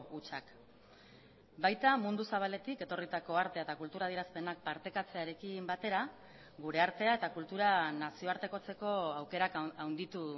hutsak baita mundu zabaletik etorritako artea eta kultura adierazpenak partekatzearekin batera gure artea eta kultura nazioartekotzeko aukerak handitu